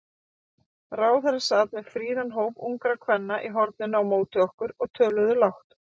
Ráðherra sat með fríðan hóp ungra kvenna í horninu á móti okkur, og töluðu lágt.